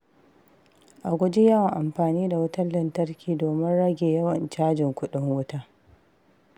A guji yawan amfani da wutar lantarki domin rage yawan cajin kuɗin wuta.